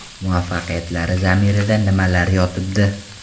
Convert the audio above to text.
Muvaffaqiyatlari zamirida nimalar yotibdi?